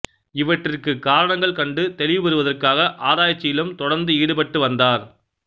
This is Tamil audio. இவற்றிற்கு காரணங்கள் கண்டு தெளிவு பெறுவதற்காக ஆராய்ச்சியிலும் தொடர்ந்து ஈடுபட்டு வந்தார்